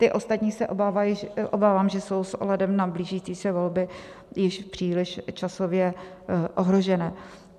Ty ostatní se obávám, že jsou s ohledem na blížící se volby již příliš časově ohrožené.